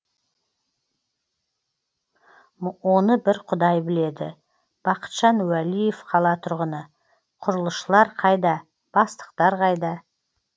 оны бір құдай біледі бақытжан уәлиев қала тұрғыны құрылысшылар қайда бастықтар қайда